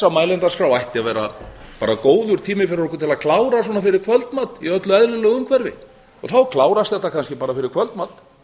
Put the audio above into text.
það ætti að vera bara góður tími fyrir okkur til að klára svona fyrir kvöldmat í öllu eðlilegu umhverfi og þá klárast þetta kannski bara fyrir kvöldmat